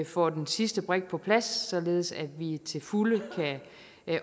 får den sidste brik på plads således at vi til fulde kan